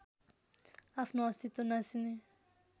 आफ्नो अस्तित्व नासिने